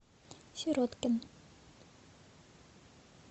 сироткин